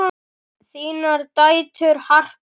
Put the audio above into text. Þínar dætur, Harpa og Tinna.